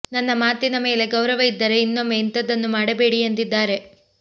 ನನ್ನ ಮಾತಿನ ಮೇಲೆ ಗೌರವ ಇದ್ದರೆ ಇನ್ನೊಮ್ಮೆ ಇಂಥದ್ದನ್ನು ಮಾಡಬೇಡಿ ಎಂದಿದ್ದಾರೆ